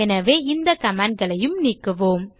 எனவே இந்த comment களையும் நீக்குவோம்